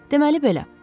Deməli belə.